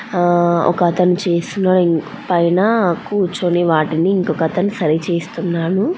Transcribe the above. ఆహ్ ఒకతను చేసిన పైన కూచొని వాటిని ఇంకోతను సరి చేస్తున్నాడు.